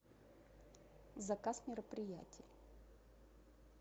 заказ мероприятий